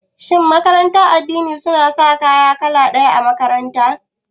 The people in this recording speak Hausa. Shin makarantar addini suna sa kaya kala ɗaya a makaranta?